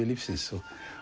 lífsins